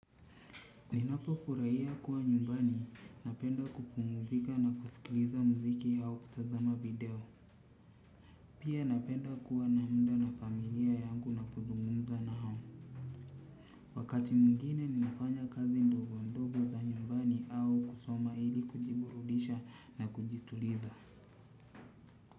Ninapo furahia kuwa nyumbani napenda kupumzika na kusikiliza muziki au kutazama video. Pia napenda kuwa namuda na familia yangu na kuzungumza na o. Wakati mwingine ninafanya kazi ndogo ndogo za nyumbani au kusoma ili kujiburudisha na kujituliza.